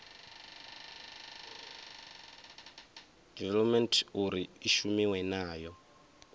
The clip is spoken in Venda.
development uri i shumiwe nayo